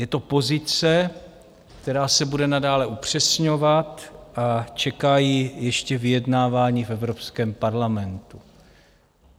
Je to pozice, která se bude nadále upřesňovat, a čeká ji ještě vyjednávání v Evropském parlamentu.